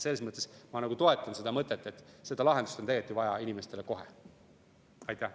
Selles mõttes ma toetan seda mõtet, et seda lahendust on tegelikult inimestele vaja kohe.